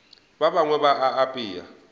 ba bangwe ba a apea